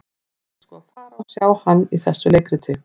Ég ætla sko að fara og sjá hann í þessu leikriti.